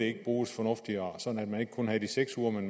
ikke bruges fornuftigere sådan at man ikke kun havde de seks uger men